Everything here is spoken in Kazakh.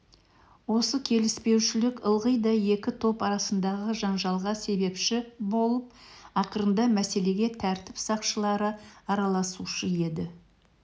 осы келіспеушілік ылғи да екі топ арасындағы жанжалға себепші болып ақырында мәселеге тәртіп сақшылары араласушы еді